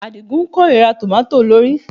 Àdìgún kórìíra tòmátò olórìí